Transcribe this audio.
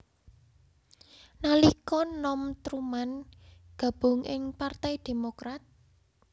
Nalika nom Truman gabung ing Partai Demokrat